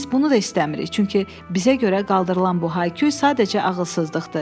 Biz bunu da istəmirik, çünki bizə görə qaldırılan bu hay-küy sadəcə ağılsızlıqdır.